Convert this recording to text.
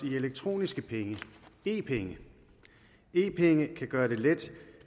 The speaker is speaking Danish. i elektroniske penge e penge e penge kan gøre det let